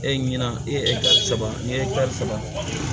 E ɲina e saba ni e ye saba